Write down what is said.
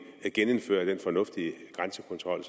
genindføre den fornuftige grænsekontrol